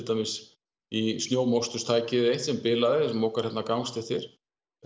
dæmis í sem bilaði og mokar hérna gangstéttir